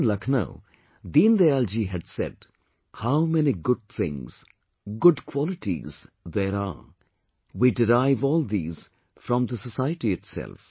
Once in Lucknow, Deen Dayal ji had said "How many good things, good qualities there are we derive all these from the society itself